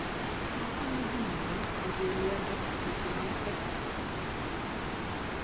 Okonyo ji mondo oriw lwedo weche mag pesa e kind ji.